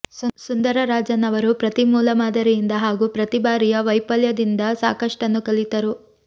ಸುಂದರ ರಾಜನ್ ಅವರು ಪ್ರತಿ ಮೂಲಮಾದರಿಯಿಂದ ಹಾಗೂ ಪ್ರತಿ ಬಾರಿಯ ವೈಫಲ್ಯದಿಂದ ಸಾಕಷ್ಟನ್ನು ಕಲಿತರು